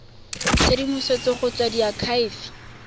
tshedimosetso go tswa go diakhaefe